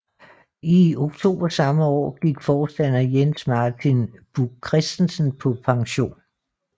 I oktober samme år gik forstander Jens Martin Buch Kristensen på pension